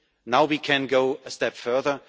Now we can go a step further.